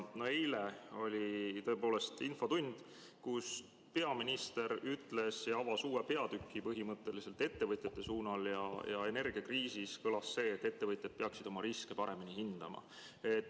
Eile oli tõepoolest infotund, kus peaminister ütles, ja avas uue peatüki põhimõtteliselt ettevõtjate suunal ja energiakriisis, et ettevõtjad peaksid oma riske paremini hindama.